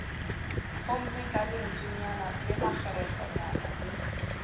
homme ka lentswenyana lemakgerehlwanyana le